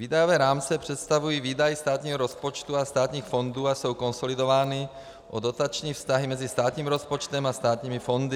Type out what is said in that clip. Výdajové rámce představují výdaje státního rozpočtu a státních fondů a jsou konsolidovány o dotační vztahy mezi státním rozpočtem a státními fondy.